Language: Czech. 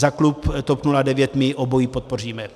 Za klub TOP 09 my obojí podpoříme.